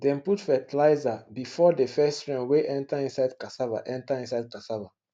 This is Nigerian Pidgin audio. dem put fertilizer before the first rain wey enter inside cassava enter inside cassava